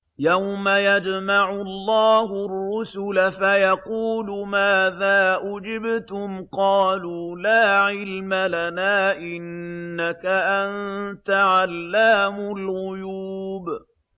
۞ يَوْمَ يَجْمَعُ اللَّهُ الرُّسُلَ فَيَقُولُ مَاذَا أُجِبْتُمْ ۖ قَالُوا لَا عِلْمَ لَنَا ۖ إِنَّكَ أَنتَ عَلَّامُ الْغُيُوبِ